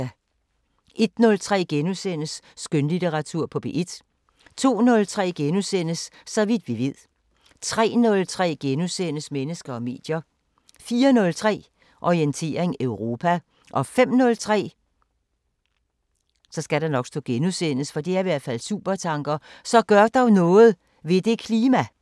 01:03: Skønlitteratur på P1 * 02:03: Så vidt vi ved * 03:03: Mennesker og medier * 04:03: Orientering Europa 05:03: Supertanker: Så gør dog noget ... ved det klima!